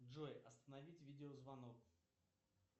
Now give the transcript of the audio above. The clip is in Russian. джой остановить видео звонок